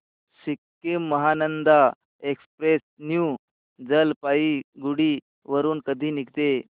Sikkim Mahananda express new Jalpaiguri वरून कधी निघते